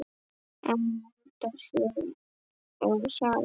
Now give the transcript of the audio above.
Amanda Sjöfn og Sara Lind.